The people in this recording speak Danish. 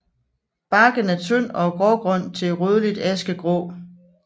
Barken er tynd og grågrøn til rødligt askegrå